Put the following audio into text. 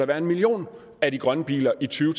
være en million af de grønne biler i to